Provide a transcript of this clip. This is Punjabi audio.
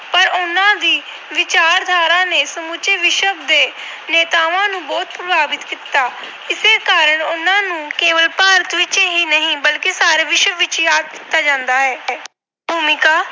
ਪਰ ਉਹਨਾਂ ਦੀ ਵਿਚਾਰਧਾਰਾ ਨੇ ਸਮੁੱਚੇ ਵਿਸ਼ਵ ਦੇ ਨੇਤਾਵਾਂ ਨੂੰ ਬਹੁਤ ਪ੍ਰਭਾਵਿਤ ਕੀਤਾ। ਇਸੇ ਕਾਰਣ ਉਹਨਾਂ ਨੂੰ ਕੇਵਲ ਭਾਰਤ ਵਿੱਚ ਹੀ ਨਹੀਂ ਸਗੋਂ ਸਾਰੇ ਵਿਸ਼ਵ ਵਿੱਚ ਯਾਦ ਕੀਤਾ ਜਾਂਦਾ ਹੈ। ਭੂਮਿਕਾ